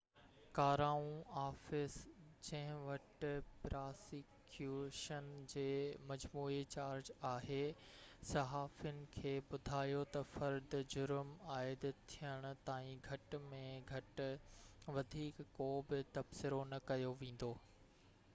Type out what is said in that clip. crown office جنهن وٽ prosecution جي مجموعي چارج آهي صحافين کي ٻڌايو ته فرد جرم عائد ٿيڻ تائين گهٽ ۾ گهٽ وڌيڪ ڪو به تبصرو نه ڪيو ويندو